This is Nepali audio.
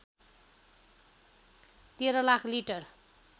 १३ लाख लिटर